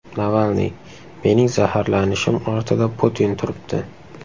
Navalniy: Mening zaharlanishim ortida Putin turibdi.